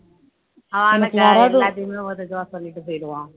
அவன் ஆனா எல்லாத்தையுமே ஒரு இதுவா சொல்லிட்டு போயிடுவோம்